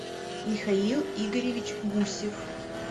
михаил игоревич гусев